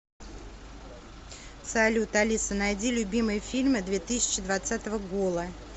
салют алиса найди любимые фильмы две тысячи двацатого гола